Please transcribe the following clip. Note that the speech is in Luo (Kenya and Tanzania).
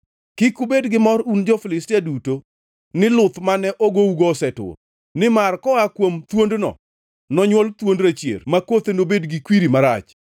Kik ubed gi mor un jo-Filistia duto ni luth mane ogougo osetur, nimar koa kuom thuondno nonywol thuond rachier ma kothe nobed gi kwiri marach.